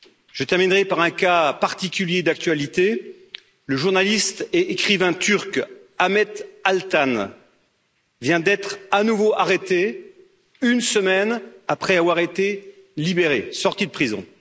Je terminerai par un cas particulier d'actualité le journaliste et écrivain turc Ahmet Altan vient d'être à nouveau arrêté, une semaine après avoir été libéré et être sorti de prison.